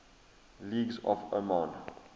languages of oman